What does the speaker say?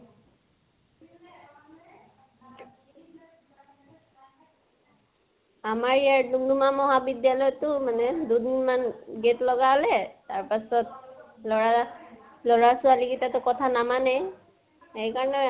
আমাৰ ইয়াৰ দুম্দুমা মহাবিদ্য়ালয়তো মানে দুদিনমান gate লগালে, তাৰ পাছত লʼৰা, লʼৰা ছোৱালী গিতাটো কথা নামানেই সেইকাৰণে